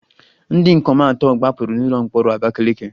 Ndị ikom atọ gbapụrụ n'ụlọ mkpọrọ Abakaleke